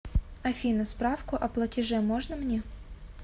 афина справку о платеже можно мне